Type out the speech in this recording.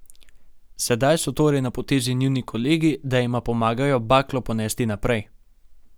Sedaj so torej na potezi njuni kolegi, da jima pomagajo baklo ponesti naprej.